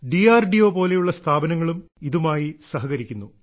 D R D O പോലെയുള്ള സ്ഥാപനങ്ങളും ഇതുമായി സഹകരിക്കുന്നു